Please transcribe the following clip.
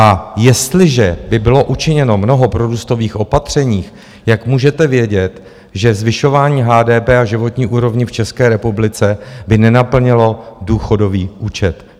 A jestliže by bylo učiněno mnoho prorůstových opatření, jak můžete vědět, že zvyšování HDP a životní úrovně v České republice by nenaplnilo důchodový účet.